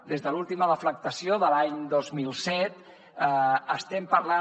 des de l’última deflactació de l’any dos mil set estem parlant